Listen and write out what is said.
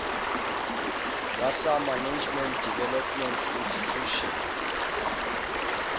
wa sa management development intitution